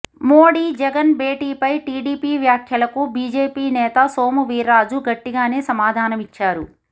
మోడీ జగన్ భేటీపై టిడిపి వ్యాఖ్యలకు బీజేపీ నేత సోము వీర్రాజు గట్టిగానే సమాధానమిచ్చారు